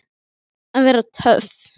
Að vera töff.